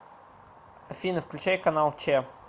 афина включай канал че